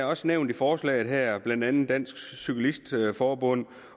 også nævnt i forslaget her at blandt andet dansk cyklist forbund